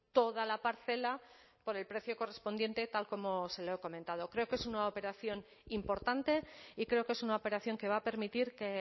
toda la parcela por el precio correspondiente tal como se lo he comentado creo que es una operación importante y creo que es una operación que va a permitir que